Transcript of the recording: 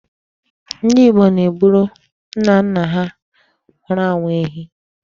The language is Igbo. Ndị Igbo na-egburu nnanna ha nwụrụ anwụ ehi.